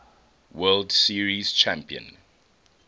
world series champion